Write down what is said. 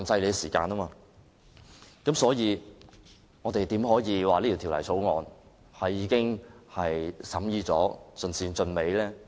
在這情況下，我們怎可以說這項《條例草案》已完成審議，盡善盡美？